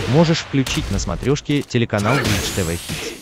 можешь включить на смотрешке телеканал бридж тв хитс